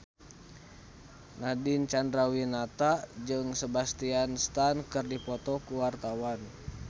Nadine Chandrawinata jeung Sebastian Stan keur dipoto ku wartawan